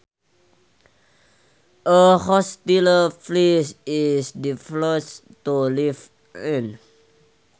A hostile place is difficult to live in